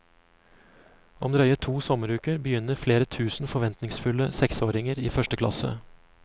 Om drøye to sommeruker begynner flere tusen forventningsfulle seksåringer i første klasse.